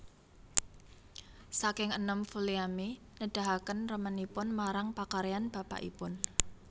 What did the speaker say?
Saking enèm Vulliamy nedahaken remenipun marang pakaryan bapakipun